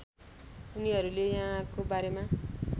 उनीहरूले यहाँको बारेमा